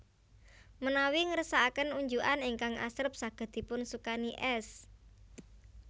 Menawi ngersakaken unjukan ingkang asrep saged dipun sukani es